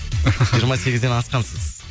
жиырма сегізден асқансыз